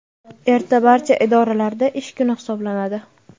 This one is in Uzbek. Erta barcha idoralarda ish kuni hisoblanadi.